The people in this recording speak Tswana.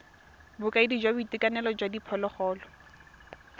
bokaedi jwa boitekanelo jwa diphologolo